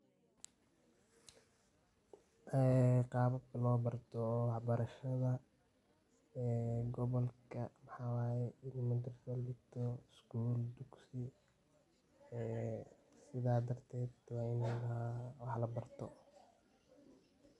ee qababka loo barto wax barashada ee gobolka waxa waye ini madarsaa latago, sgul iyo dugsi sida darteed wa ini wax la barto